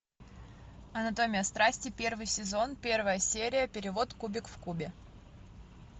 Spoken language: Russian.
анатомия страсти первый сезон первая серия перевод кубик в кубе